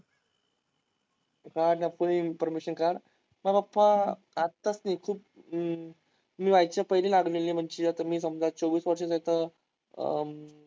काढ ना सगळी इंफॉर्मशन काढ. ओ पप्पा, आत्ताच मी व्हायच्या पहिले लागलेले म्हणजे आता मी समजा चोवीस वर्षं तिथं अं